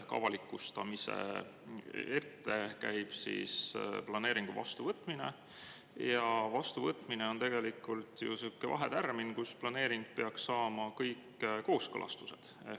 Ehk avalikustamise ette käib planeeringu vastuvõtmine ja vastuvõtmine on tegelikult sihuke vahetärmin, kus planeering peaks saama kõik kooskõlastused.